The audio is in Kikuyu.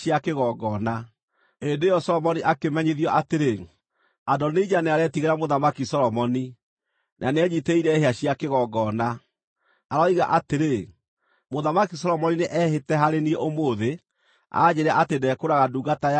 Hĩndĩ ĩyo Solomoni akĩmenyithio atĩrĩ, “Adonija nĩaretigĩra Mũthamaki Solomoni, na nĩenyiitĩrĩire hĩa cia kĩgongona. Aroiga atĩrĩ, ‘Mũthamaki Solomoni nĩehĩte harĩ niĩ ũmũthĩ anjĩĩre atĩ ndekũũraga ndungata yake na rũhiũ rwa njora.’ ”